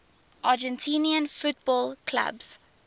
argentine football clubs